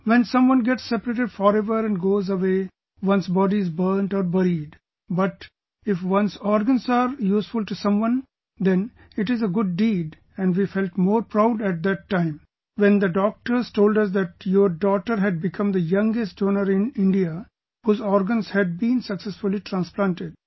When someone gets separated forever and goes away, his body is burnt or buried, but if his organs are useful to someone, then it is a good deed and we felt more proud at that time when the doctors told us that your daughter had become the youngest donor in India whose organs had been successfully transplanted